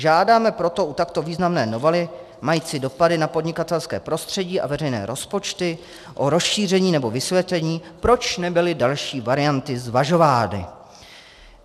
Žádáme proto u takto významné novely mající dopady na podnikatelské prostředí a veřejné rozpočty o rozšíření nebo vysvětlení, proč nebyly další varianty zvažovány.